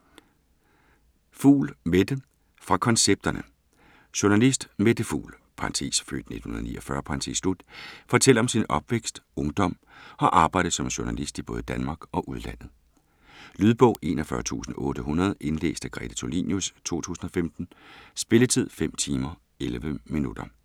Fugl, Mette: Fra koncepterne Journalist Mette Fugl (f. 1949) fortæller om sin opvækst, ungdom og arbejdet som journalist i både Danmark og udlandet. Lydbog 41800 Indlæst af Grete Tulinius, 2015. Spilletid: 5 timer, 11 minutter.